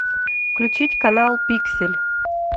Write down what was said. включить канал пиксель